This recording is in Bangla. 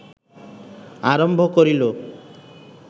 আরম্ভ করিল